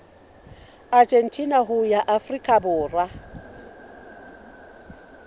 argentina ho ya afrika borwa